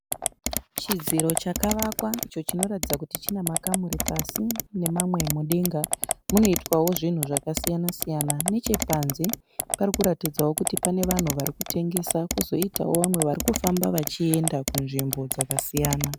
Chidziro chakavakwa icho chinoratidza kuti chinemakamuri pasi nemamwe mudenga. Munoitwawo zvinhu zvakasiyana siyana. Nechepanze parikuratidzawo kuti pane vanhu varikutengesa, kozoitawo mamwe varikufamba vachienda kunzvimbo dzakasiyana.